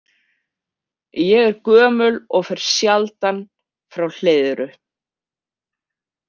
Ég er gömul og fer sjaldan frá Hleiðru.